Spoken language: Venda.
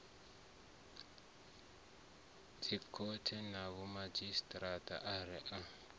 dzikhothe na vhomadzhisi ara a